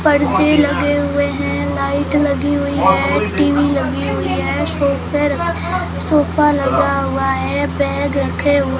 पर्दे लगे हुए हैं लाइट लगी हुई है टी_वी लगी हुई है सोफे सोफा लगा हुआ है बैग रखे हु--